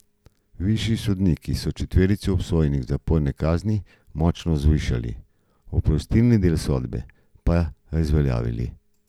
Višji sodniki so četverici obsojenih zaporne kazni močno zvišali, oprostilni del sodbe pa razveljavili.